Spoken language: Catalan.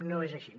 no és així